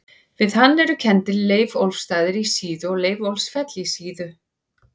Við hann eru kenndir Leiðólfsstaðir á Síðu og Leiðólfsfell á Síðu.